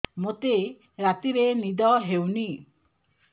ମୋତେ ରାତିରେ ନିଦ ହେଉନି